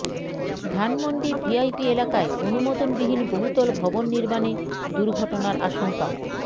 Dhanmondi VIP এলাকায় অনুমোদনবিহীন বহুতল ভবন নির্মাণে দুর্ঘটনার আশংকা